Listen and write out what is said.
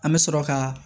An bɛ sɔrɔ ka